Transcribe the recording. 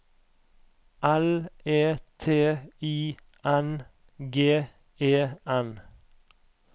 L E T I N G E N